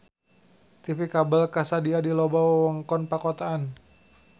TV kabel kasadia di loba wewengkon pakotaan.